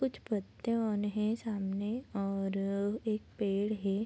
कुछ पत्ते ऑन है सामने और एक पेड़ है।